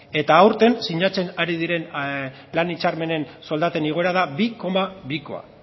eta aurten sinatzen ari diren lan hitzarmenen soldaten igoera da bi koma bikoa